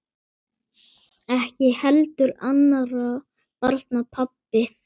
Ekki heldur annarra barna pabbi.